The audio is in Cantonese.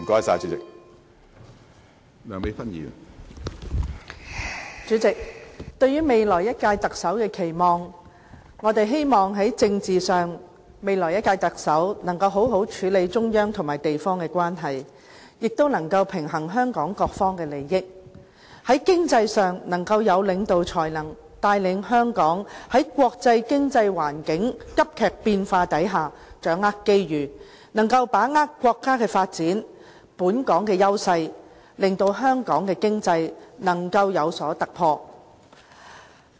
主席，對於下任特首的期望，我們希望在政治上，下任特首能夠好好處理中央和地方的關係，亦能夠平衡香港各方的利益；在經濟上，能夠有領導才能，帶領香港在國際經濟環境急劇變化下掌握機遇，把握國家發展、本港的優勢，令香港的經濟有所突破。